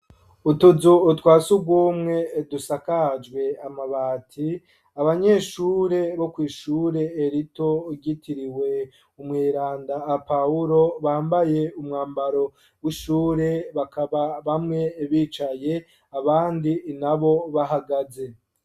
Utuzu utwasi ugwomwe dusakajwe amabati abanyeshure bo kw'ishure elito ugitiriwe umwiranda a pahulo bambaye umwambaro w'ishure bakaba bamwe bicaye abandi ina bo bahagaze.